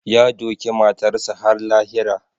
Ya doke matarsa ​​har lahira